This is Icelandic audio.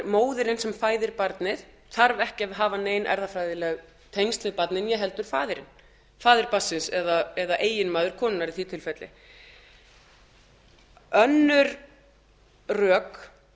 móðirin sem fæðir barið þarf ekki að hafa nein erfðafræðileg tengsl við barnið né heldur faðirinn faðir barnsins eða eiginmaður konunnar í því tilfelli önnur rök